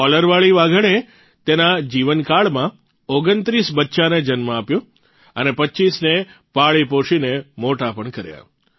કોલરવાળી વાઘણે તેના જીવનકાળમાં ૨૯ બચ્ચાંને જન્મ આપ્યો અને ૨૫ને પાળી પોષીને મોટાં પણ કર્યાં